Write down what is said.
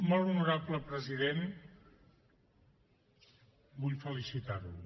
molt honorable president vull felicitar lo